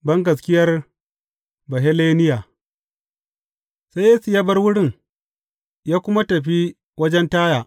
Bangaskiyar Baheleniya Sai Yesu ya bar wurin, ya kuma tafi wajajen Taya.